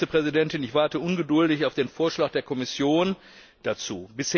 Frau Vizepräsidentin, ich warte ungeduldig auf den Vorschlag der Kommission dazu.